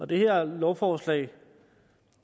det her lovforslag